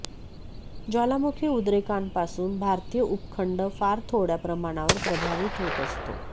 ज्वालामुखी उद्रेकांपासून भारतीय उपखंड फार थोडया प्रमाणावर प्रभावित होत असतो